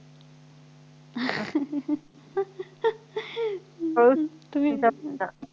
हो तुम्ही जात होता